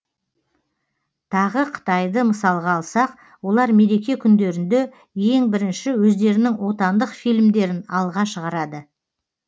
тағы қытайды мысалға алсақ олар мереке күндерінде ең бірінші өздерінің отандық фильмдерін алға шығарады